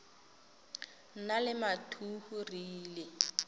nna le mathuhu re ile